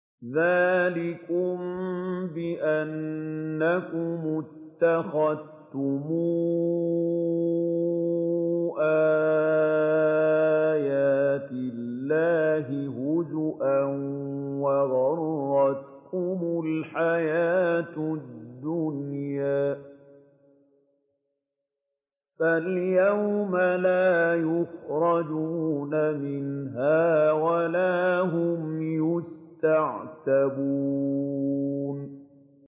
ذَٰلِكُم بِأَنَّكُمُ اتَّخَذْتُمْ آيَاتِ اللَّهِ هُزُوًا وَغَرَّتْكُمُ الْحَيَاةُ الدُّنْيَا ۚ فَالْيَوْمَ لَا يُخْرَجُونَ مِنْهَا وَلَا هُمْ يُسْتَعْتَبُونَ